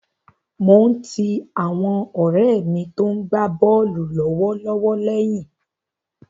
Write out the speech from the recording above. Mo ń ti àwọn ọ̀rẹ́ mi tó ń gbá bọ́ọ̀lù lọ́wọ́lọ́wọ́ lẹ́yìn.